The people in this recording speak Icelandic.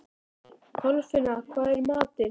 Kolfinna, hvað er í matinn?